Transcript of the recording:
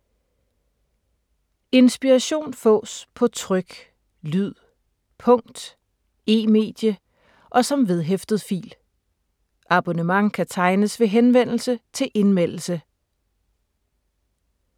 Inspiration fås på tryk, lyd, punkt, e-medie og som vedhæftet fil. Abonnement kan tegnes ved henvendelse til Indmeldelse.